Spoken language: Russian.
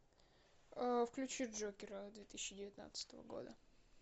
включи джокера две тысячи девятнадцатого года